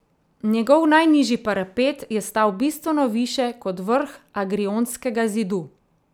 Njegov najnižji parapet je stal bistveno više kot vrh agriontskega zidu.